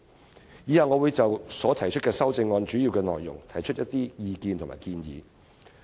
我以下會就我所提出的修正案的主要內容提出意見和建議。